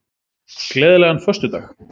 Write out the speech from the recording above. Gleðilegan föstudag.